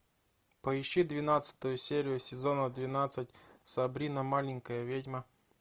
поищи двенадцатую серию сезона двенадцать сабрина маленькая ведьма